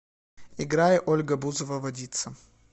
играй ольга бузова водица